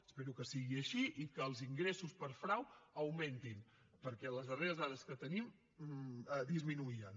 espero que sigui així i que els ingressos per frau augmentin perquè en les darreres dades que tenim disminuïen